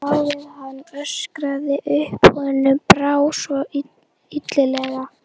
Lá við að hann öskraði upp, honum brá svo illilega.